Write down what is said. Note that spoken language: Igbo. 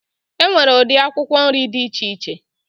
E nwere ụdị akwụkwọ nrị dị iche iche